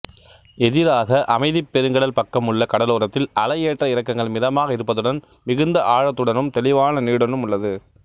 எதிராக அமைதிப் பெருங்கடல் பக்கமுள்ள கடலோரத்தில் அலை ஏற்ற இறக்கங்கள் மிதமாக இருப்பதுடன் மிகுந்த ஆழத்துடனும் தெளிவான நீருடனும் உள்ளது